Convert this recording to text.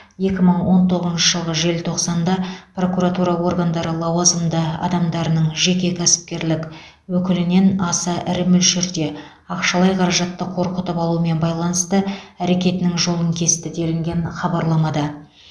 екі мың он тоғызыншы жылғы желтоқсанда прокуратура органдары лауазымды адамдарының жеке кәсіпкерлік өкілінен аса ірі мөлшерде ақшалай қаражатты қорқытып алумен байланысты әрекетінің жолын кесті делінген хабарламада